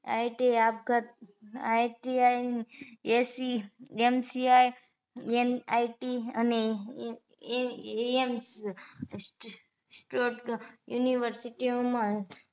ITI આપઘાત ITI એશી MCIMIC અને AMCInstitute university ઓ માં